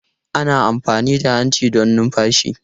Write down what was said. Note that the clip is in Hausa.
Ana amfani da hanci don numfashi.